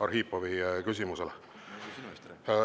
Arhipovi küsimusele.